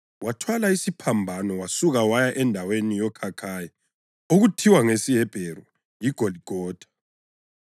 Wathwala isiphambano, wasuka waya endaweni yoKhakhayi (okuthiwa ngesiHebheru yiGoligotha).